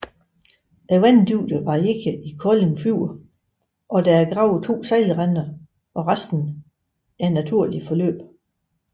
Vanddybden varierer i Kolding Fjord og der er gravet to sejlrender og resten er naturligt forløb